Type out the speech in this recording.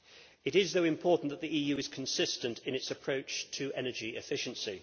It is, though, important that the EU be consistent in its approach to energy efficiency.